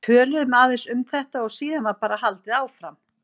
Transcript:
Við töluðum aðeins um þetta og síðan var bara haldið áfram.